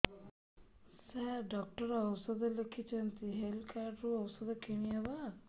ସାର doctor ଔଷଧ ଲେଖିଛନ୍ତି health card ରୁ ଔଷଧ କିଣି ହେବ